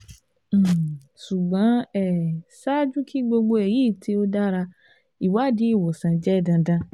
um ṣugbọn um ṣaaju ki gbogbo eyi ti o dara iwadi iwosan jẹ dandan